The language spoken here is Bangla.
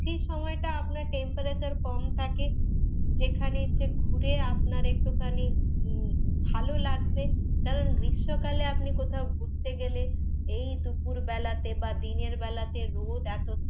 সেই সময়টা আপনার temperature কম থাকে, যেখানে এসে ঘুরে আপনার একটুখানি উম ভালো লাগবে কারণ গ্রীষ্মকালে আপনি কোথাও ঘুরতে গেলে, এই দুপুর বেলাতে বা দিনের বেলাতে রোদ এতো থাকে,